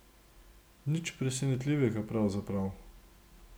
Nič presenetljivega pravzaprav.